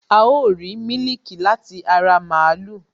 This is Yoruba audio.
A ó rìí mílíkì láti ara màlúù